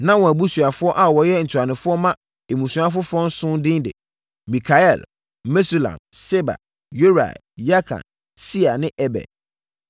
Na wɔn abusuafoɔ a wɔyɛ ntuanofoɔ ma mmusua afoforɔ nson din ne: Mikael, Mesulam, Seba, Yorai, Yakan, Sia ne Eber.